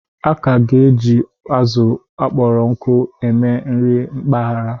A ka ga-eji azụ kpọrọ nkụ eme nri mpaghara.